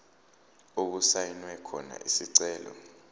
okusayinwe khona isicelo